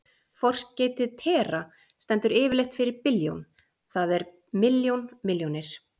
Forskeytið tera- stendur yfirleitt fyrir billjón, það er milljón milljónir.